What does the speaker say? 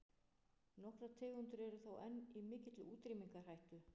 Nokkrar tegundir eru þó enn í mikilli útrýmingarhættu.